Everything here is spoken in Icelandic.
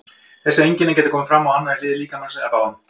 Þessi einkenni geta komið fram á annarri hlið líkamans eða báðum.